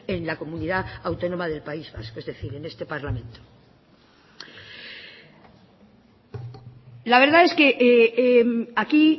en la comunidad autónoma del país vasco es decir en este parlamento la verdad es que aquí